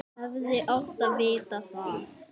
Hefði átt að vita það.